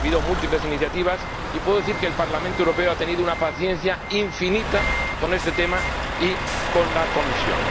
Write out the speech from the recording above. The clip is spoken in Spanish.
Ha habido múltiples iniciativas, y puedo decir que el Parlamento Europeo ha tenido una paciencia infinita con este tema y con la Comisión.